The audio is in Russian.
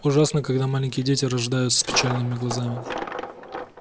ужасно когда маленькие дети рождаются с печальными глазами